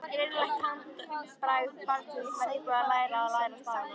Greinilegt handbragð barns sem var nýbúið að læra stafina.